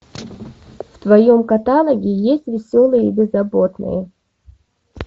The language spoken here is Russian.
в твоем каталоге есть веселые и беззаботные